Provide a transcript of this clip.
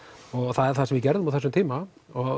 það er það sem við gerðum á þessum tíma